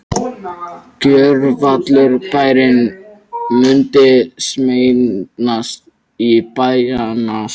Gjörvallur bærinn mundi sameinast í bænastund.